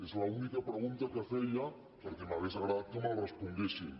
és l’única pregunta que feia perquè m’hauria agradat que me la responguessin